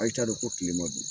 Ali t'a dɔn ko tilema don.